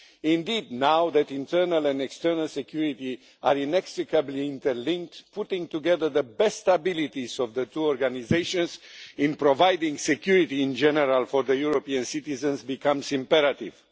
Indeed now that internal and external security are inextricably interlinked, putting together the best abilities of the two organisations in providing security in general for the European citizens becomes imperative.